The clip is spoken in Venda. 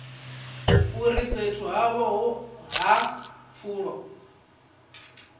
uri fhethu havho ha pfulo